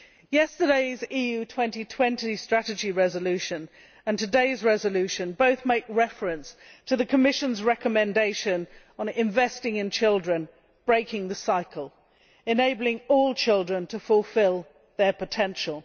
Yesterday's EU 2020 Strategy resolution and today's resolution both make reference to the Commission's recommendation on investing in children, breaking the cycle and enabling all children to fulfil their potential.